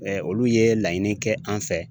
olu ye laɲini kɛ an fɛ.